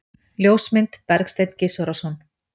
Ljósmynd: Bergsteinn Gizurarson.